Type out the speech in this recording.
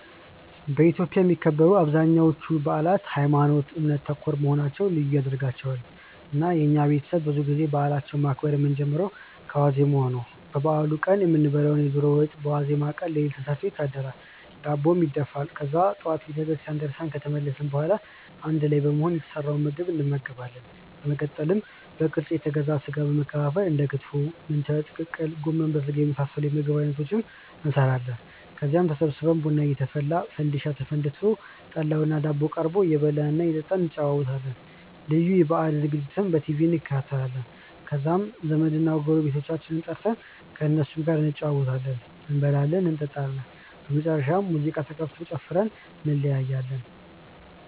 በኢትዮጵያ የሚከበሩ አብዛኞቹ በአላት ሀይማኖት ( እምነት) ተኮር መሆናቸው ልዩ ያደርጋቸዋል። እና የኛ ቤተሰብ ብዙ ጊዜ በአላችንን ማክበር የምንጀምረው ከዋዜማው ነው። ለበአሉ ቀን የምንበላውን የዶሮ ወጥ በዋዜማው ቀን ሌሊት ተሰርቶ ይታደራል፤ ዳቦም ይደፋል። ከዛ ጠዋት ቤተክርስቲያን ደርሰን ከተመለስን በኋላ አንድ ላይ በመሆን የተሰራውን ምግብ እንመገባለን። በመቀጠል በቅርጫ የተገዛውን ስጋ በመከፋፈል እንደ ክትፎ፣ ምንቸት፣ ቅቅል፣ ጎመን በስጋና የመሳሰሉት የምግብ አይነቶችን እንሰራለን። ከዛም ተሰብስበን ቡና እየተፈላ፣ ፈንዲሻ ተፈንድሶ፣ ጠላውና ዳቦው ቀርቦ እየበላን እና እየጠጣን እንጨዋወታለን። ልዩ የበአል ዝግጅቶችንም በቲቪ እንከታተላለን። ከዛም ዘመድና ጎረቤቶቻችንን ጠርተን ከእነሱም ጋር እንጨዋወታለን፤ እንበላለን እንጠጣለን። በመጨረሻም ሙዚቃ ተከፍቶ ጨፍረን እንለያያለን።